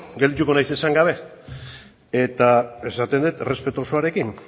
geldituko naiz esan gabe eta esaten dut errespetu osoarekin